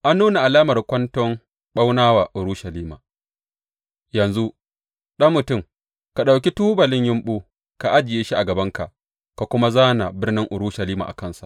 An nuna alamar kwanton ɓauna wa Urushalima Yanzu, ɗan mutum, ka ɗauki tubalin yumɓu, ka ajiye shi a gabanka ka kuma zāna birnin Urushalima a kansa.